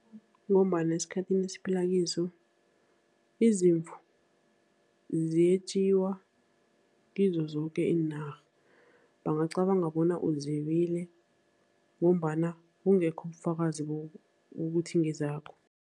Ngombana esikhathini esiphila kiso izimvu ziyetjiwa kizo zoke iinarha, bangacabanga bona uzebile ngombana kungekho ubufakazi bokuthi ngezakho.